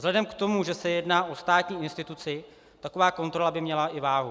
Vzhledem k tomu, že se jedná o státní instituci, taková kontrola by měla i váhu.